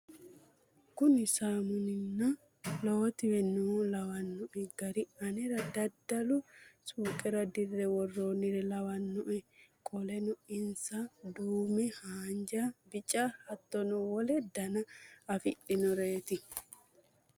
Kuri saammunna lowotiwe no lawwanoe gari anera daddalu suuqere dirre worroonire lawanoe qoleno insa duume, haanja, bica hattono wole dana afidhinoreeti